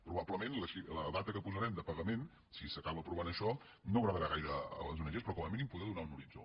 probablement la data que posarem de pagament si s’acaba aprovant això no agradarà gaire a les ong però com a mínim poder donar un horitzó